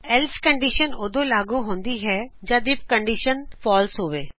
else condition ਉਦੋ ਲਾਗੂ ਹੁੰਦੀ ਹੈਜਦ ਆਈਐਫ ਕਨਡੀਸ਼ਨ ਫਾਲਸੇ ਹੋਵੇ